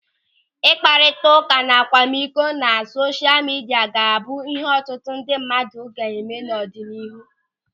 Ịkparịta ụka akwamikọ na sosha midia ga-abụ ịhe ọtụtụ ndị mmadụ ga na-eme n'ọdịnihu.